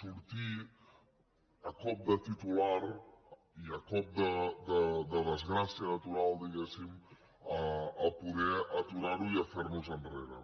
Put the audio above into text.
sortir a cop de titular i a cop de desgràcia natural diguem ne a poder aturar ho i a fer nos enrere